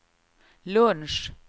lunch